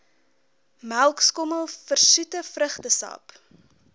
melkskommel versoete vrugtesap